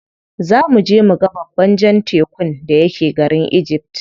Za muje muga babban jan tekun da yake garin egypt.